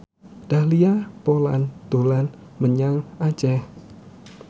Dahlia Poland dolan menyang Aceh